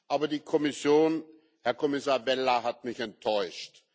Aber die Kommission, Herr Kommissar Vella, hat mich enttäuscht.